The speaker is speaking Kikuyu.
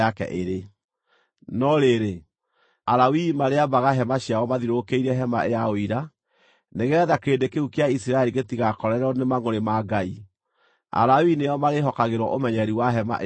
No rĩrĩ, Alawii marĩambaga hema ciao mathiũrũrũkĩirie hema ya Ũira nĩgeetha kĩrĩndĩ kĩu kĩa Isiraeli gĩtigakorererwo nĩ mangʼũrĩ ma Ngai. Alawii nĩo marĩĩhokagĩrwo ũmenyereri wa hema ĩyo ya Ũira.”